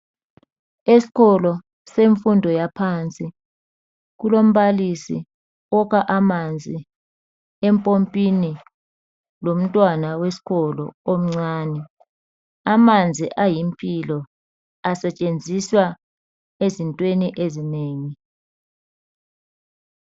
Eskolo semfundo yaphansi ,kulombalisi okha amanzi empompini lomntwana weskolo omncane. Amanzi ayimpilo asetshenziswa ezintweni ezinengi.